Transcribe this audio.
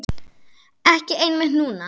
Ekki einmitt núna.